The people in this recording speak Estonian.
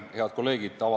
Head kolleegid!